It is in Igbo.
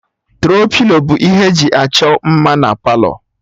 Tro-pilo bụ ihe e ji achọ mma na Palọ